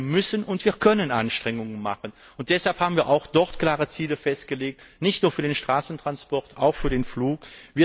Also müssen und können wir Anstrengungen machen, und deshalb haben wir auch dort klare Ziele festgelegt, nicht nur für den Straßentransport, sondern auch für den Flugverkehr.